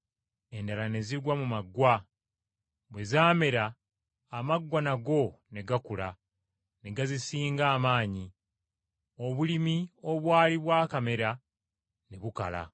Endala ne zigwa mu maggwa, bwe zaamera amaggwa nago ne gakula ne gazisinga amaanyi, obulimi obwali bwakamera ne bukala.